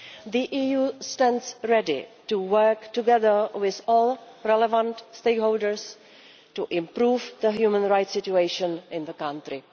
The EU stands ready to work together with all relevant stakeholders to improve the human rights situation in the country.